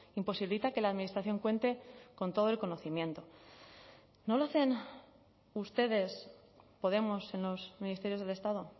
imposibilita que la administración cuente con todo el conocimiento no lo hacen ustedes podemos en los ministerios del estado